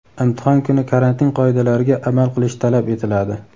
Imtihon kuni karantin qoidalariga amal qilish talab etiladi.